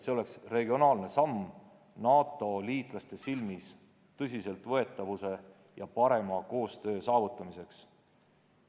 See oleks regionaalne samm NATO liitlaste silmis tõsiseltvõetavuse ja parema koostöö saavutamiseks.